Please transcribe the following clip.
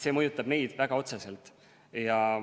See mõjutab neid väga otseselt.